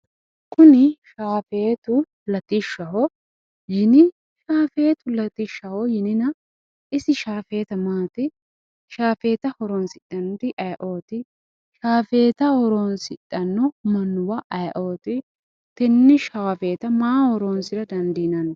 Kuni shaafeetu latishshaho yini shaafeeetu latishshaho yinina isi shaafeeta maati shaafeeta horoonsidhannori aye"ooti shaafeetaho horoonsidhanno mannuwa aye"ooti tenne shaafeeta maaho horonsira dandiinanni